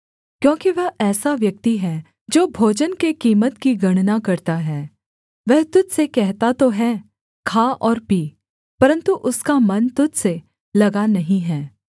क्योंकि वह ऐसा व्यक्ति है जो भोजन के कीमत की गणना करता है वह तुझ से कहता तो है खा और पी परन्तु उसका मन तुझ से लगा नहीं है